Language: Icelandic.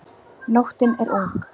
Nóttin er ung